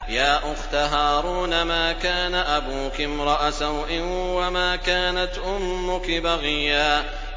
يَا أُخْتَ هَارُونَ مَا كَانَ أَبُوكِ امْرَأَ سَوْءٍ وَمَا كَانَتْ أُمُّكِ بَغِيًّا